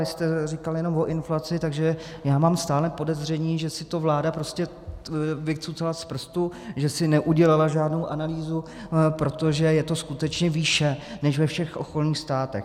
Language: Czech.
Vy jste říkal jenom o inflaci, takže já mám stále podezření, že si to vláda prostě vycucala z prstu, že si neudělala žádnou analýzu, protože je to skutečně výše než ve všech okolních státech.